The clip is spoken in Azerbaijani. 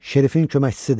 Şerifin köməkçisidir.